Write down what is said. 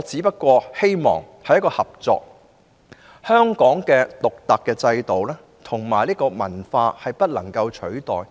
畢竟，香港獨特的制度及文化不能取代。